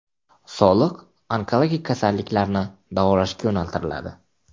Soliq onkologik kasalliklarni davolashga yo‘naltiriladi.